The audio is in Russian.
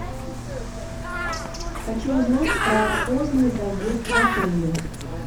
хочу узнать про поздний заезд в отеле